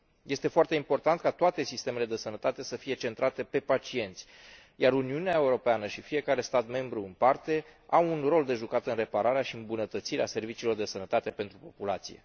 Este foarte important ca toate sistemele de sănătate să fie centrate pe pacienți, iar Uniunea Europeană și fiecare stat membru în parte au un rol de jucat în repararea și îmbunătățirea serviciilor de sănătate pentru populație.